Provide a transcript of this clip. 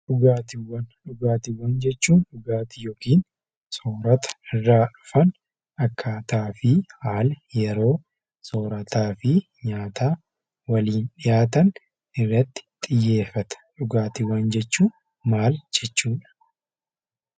Dhugaatiiwwan Dhugaatiiwwan jechuun dhugaatii yookiin soorata irraa hafan akkaataa, haalaa, yeroo soorataa fi nyaata waliin dhiyaatan irratti xiyyeeffata. Dhugaatiiwwan jechuun maal jechuu dha?